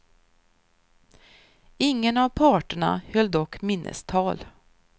Ingen av parterna höll dock minnestal.